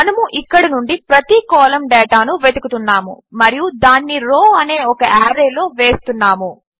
మనము ఇక్కడి నుండి ప్రతి కాలం డేటాను వెతుకుతున్నాము మరియు దానిని రౌ అనే ఒక ఆర్రేలో వేస్తున్నాము